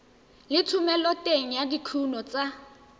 le thomeloteng ya dikuno tsa